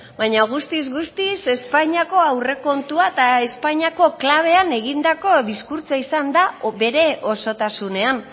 baina guztiz guztiz espainiako aurrekontua eta espainiako klabean egindako diskurtsoa izan da bere osotasunean